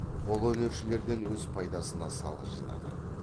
қолөнершілерден өз пайдасына салық жинады